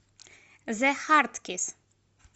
зе харт кисс